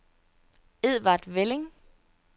Edvard Velling